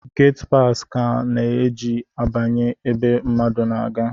Gatipasi ka a na-eji abanye ebe mmadu na-aga